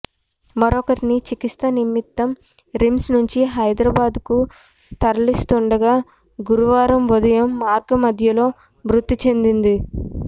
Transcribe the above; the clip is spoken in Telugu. మరొకరిని చికిత్స నిమిత్తం రిమ్స్ నుంచి హైదరాబాదు కు తరలిస్తుండగా గురువారం ఉదయం మార్గమధ్యలో మృతి చెందింది